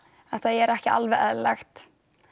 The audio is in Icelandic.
þetta væri ekki alveg eðlilegt